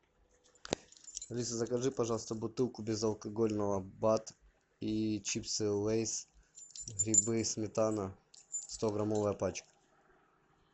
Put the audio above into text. алиса закажи пожалуйста бутылку безалкогольного бад и чипсы лейс грибы сметана стограммовая пачка